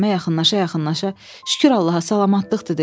Ağarəhmə yaxınlaşa-yaxınlaşa: "Şükür Allaha, salamatlıqdır" dedi.